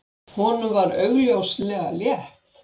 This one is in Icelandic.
Honum var augljóslega létt.